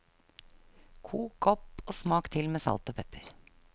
Kok opp og smak til med salt og pepper.